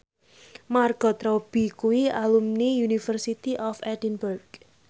Margot Robbie kuwi alumni University of Edinburgh